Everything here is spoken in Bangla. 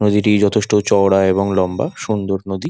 নদীটি যথেষ্ট চওড়া এবং লম্বা সুন্দর নদী।